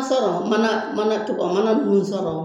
Sɔrɔ mana mana to ka mana ninnu sɔrɔ